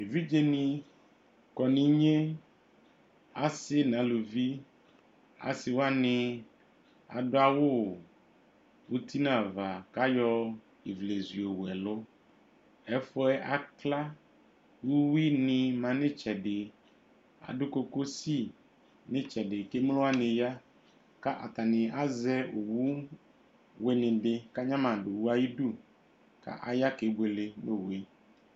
Evidzeni kɔ nu igne, asi nu ãluvi: si wani aɖu awu uti nu ãvã ku ayɔ iwlezu yɔwu ɛlu Ɛfu ye akla Uwini mã nu itsɛdi Ãdu kokosí nu itsɛdi ku emlo waní ya, ka atani azɛ owu wíní ɖi ku ãgnamadu ayiudu, ka aya kebuele nu owue